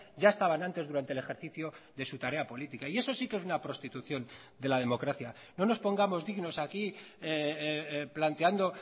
ya estaban antes durante el ejercicio de su tarea política y eso sí que es una prostitución de la democracia no nos pongamos dignos aquí planteando